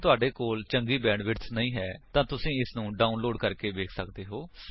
ਜੇਕਰ ਤੁਹਾਡੇ ਕੋਲ ਚੰਗੀ ਬੈਂਡਵਿਡਥ ਨਹੀਂ ਹੈ ਤਾਂ ਤੁਸੀ ਇਸਨੂੰ ਡਾਉਨਲੋਡ ਕਰਕੇ ਵੇਖ ਸੱਕਦੇ ਹੋ